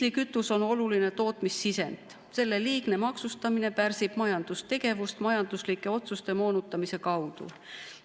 Diislikütus on oluline tootmissisend, selle liigne maksustamine pärsib majandustegevust majanduslike otsuste moonutamise kaudu.